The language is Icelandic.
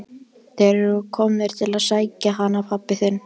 Þeir eru komnir til að sækja hann pabba þinn.